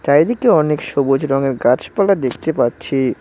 চারিদিকে অনেক সবুজ রঙের গাছপালা দেখতে পাচ্ছি।